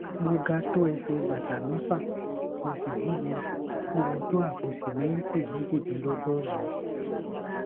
mo ga tó ẹsẹ bàtà mẹfà mo sì wúwo wúwo tó àpò sìmẹǹtì méjìdínlọgọrùnún